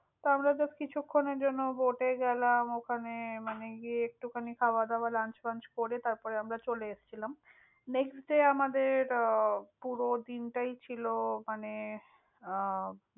lunch করে তারপরে আমরা চলে এসেছিলাম।